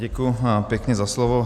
Děkuji pěkně za slovo.